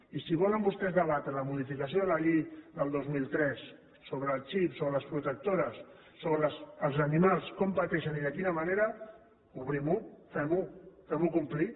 i si volen vostès debatre la modificació de la llei del dos mil tres sobre el xip sobre les protectores sobre els animals com pateixen i de quina manera obrim ho fem ho fem ho complir